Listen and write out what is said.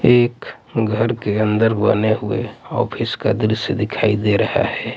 एक घर के अंदर बने हुए ऑफिस का द्रश्य दिखाई दे रहा हैं।